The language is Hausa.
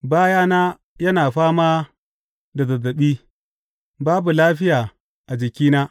Bayana yana fama da zazzaɓi; babu lafiya a jikina.